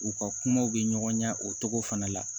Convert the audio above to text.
U ka kumaw bɛ ɲɔgɔn na o cogo fana la